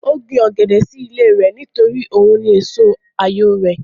Ó gbin ọ̀gẹ̀dẹ̀ sí ilé rẹ̀ nítorí òun ni èso àyò rẹ̀